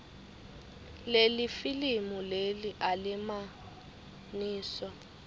lelifilimu leli alimagniso